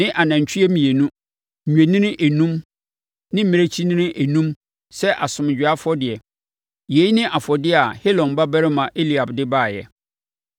ne anantwie mmienu, nnwennini enum ne mmirekyinini enum sɛ asomdwoeɛ afɔdeɛ. Yei ne afɔdeɛ a Helon babarima Eliab de baeɛ.